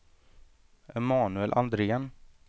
Emanuel Andrén